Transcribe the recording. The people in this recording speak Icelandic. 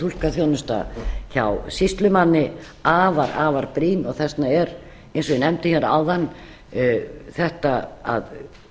túlkaþjónusta hjá sýslumanni afar afar brýn og þess vegna er eins og ég nefndi hér áðan þetta að